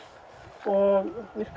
og virka